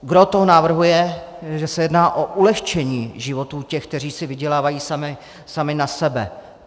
Gros toho návrhu je, že se jedná o ulehčení životů těch, kteří si vydělávají sami na sebe.